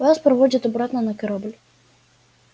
вас проводят обратно на корабль